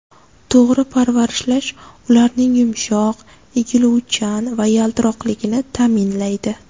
To‘g‘ri parvarishlash ularning yumshoq, egiluvchan va yaltiroqligini ta’minlaydi.